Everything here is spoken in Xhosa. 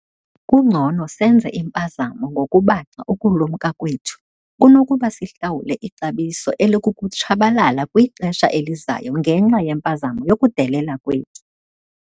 Kungcono senze impazamo ngokubaxa ukulumka kwethu kunokuba sihlawule ixabiso elikukutshabalala kwixesha elizayo ngenxa yempazamo yokudelela kwethu.